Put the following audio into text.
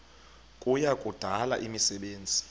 kuya kudala imisebenzi